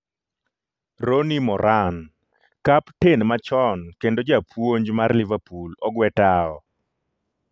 Ronnie Moran: Kapten machon kendo japuonj mar Liverpool ogwe tao